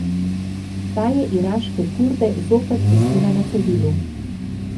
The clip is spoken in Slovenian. Ta je iraške Kurde zopet pustila na cedilu.